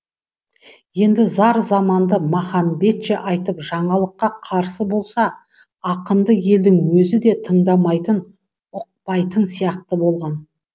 енді зар заманды махамбетше айтып жаңалыққа қарсы болса ақынды елдің өзі де тыңдамайтын ұқпайтын сияқты болған